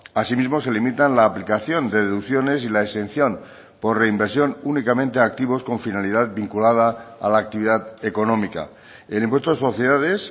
asimismo se limitan la aplicación de deducciones y la exención por reinversión únicamente a activos con finalidad vinculada a la actividad económica el impuesto de sociedades